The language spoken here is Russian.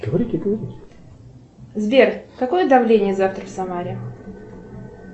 сбер какое давление завтра в самаре